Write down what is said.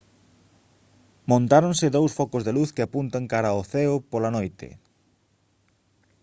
montáronse dous focos de luz que apuntan cara ao ceo pola noite